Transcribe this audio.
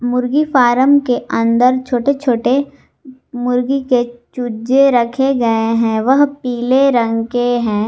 मुर्गी फार्म के अंदर छोटे छोटे मुर्गी के चूजे रखे गए हैं वह पीले रंग के हैं।